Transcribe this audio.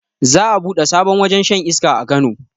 Za a buɗe sabon wajen shan iska a kano